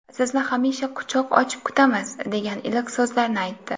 Sizni hamisha quchoq ochib kutamiz”, degan iliq so‘zlarni aytdi.